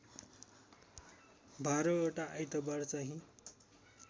१२ वटा आइतबार चाँहि